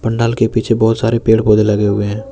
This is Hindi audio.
पंडाल के पीछे बहुत सारे पेड़ पौधे लगे हुए हैं।